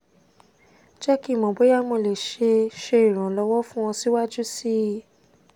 jẹ ki n mọ boya mo le ṣe ṣe iranlọwọ fun ọ siwaju sii